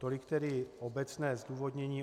Tolik tedy obecné zdůvodnění.